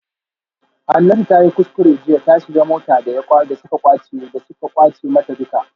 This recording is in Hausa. Hanatu tayi kuskure jiya ta shiga mota daya suka kwace mata duka